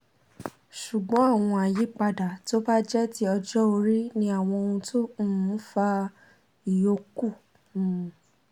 ṣùgbọ́n àwọn àyípadà tó bá jẹ́ ti ọjọ́ orí ni àwọn ohun tó um ń fa ìyókù um